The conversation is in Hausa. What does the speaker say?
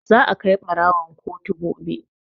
Za a kai ɓarawon kotu gobe.